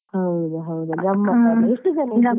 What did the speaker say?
ಹೌದಾ ಹೌದಾ ಗಮ್ಮತ್ತಲ್ಲ ಎಷ್ಟು ಜನ ಇದ್ರಿ?